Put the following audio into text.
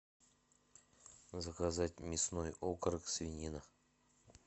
заказать мясной окорок свинина